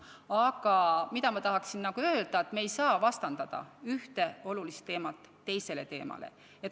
Aga ma tahan öelda, et me ei saa vastandada ühte olulist teemat teisele.